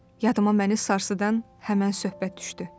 Yadıma məni sarsıdan həmin söhbət düşdü.